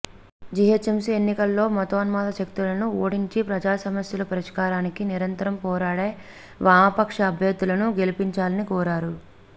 GHMC ఎన్నికల్లో మతోన్మాద శక్తులను ఓడించి ప్రజా సమస్యల పరిష్కారానికి నిరంతరం పోరాడే వామపక్ష అభ్యర్థులను గెలిపించాలని కోరారు